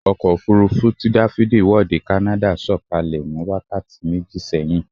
Ọkọ̀ òfurufú tí dáfídì wọ̀ dé kánádà sọ̀kalẹ̀ ní wákàtí méjì sẹ́yìn